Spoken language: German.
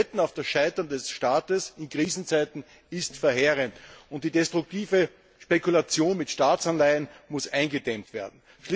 Das Wetten auf die Zahlungsunfähigkeit eines Staates in Krisenzeiten ist verheerend, und die destruktive Spekulation mit Staatsanleihen muss eingedämmt werden.